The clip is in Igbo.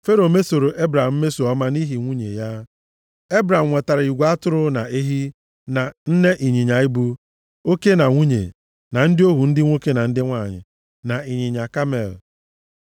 Fero mesoro Ebram mmeso ọma nʼihi nwunye ya. Ebram nwetara igwe atụrụ, na ehi, na nne ịnyịnya ibu, oke na nwunye, na ndị ohu ndị nwoke na ndị nwanyị, na ịnyịnya kamel.